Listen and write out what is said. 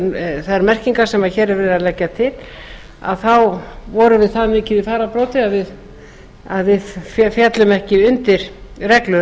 og þær merkingar sem hér er verið að leggja til vorum við það mikið í fararbroddi að við féllum ekki undir reglur